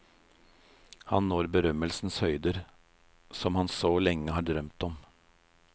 Han når berømmelsens høyder, som han så lenge har drømt om.